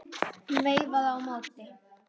Hún veifaði á móti.